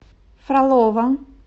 фролово